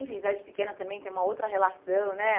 Enfim, cidade pequena também tem uma outra relação, né?